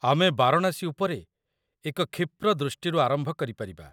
ଆମେ ବାରାଣାସୀ ଉପରେ ଏକ କ୍ଷିପ୍ର ଦୃଷ୍ଟିରୁ ଆରମ୍ଭ କରିପାରିବା।